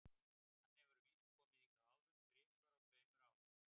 Hann hefur að vísu komið hingað áður, þrisvar á tveimur árum.